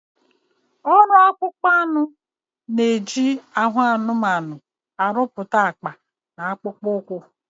Ọrụ akpụkpọ anụ na-eji ahụ anụmanụ arụpụta akpa na akpụkpọ ụkwụ